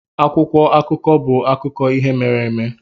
Akwụkwọ akụkọ bụ akụkọ ihe mere eme.